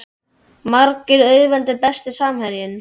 Margir auðveldir Besti samherjinn?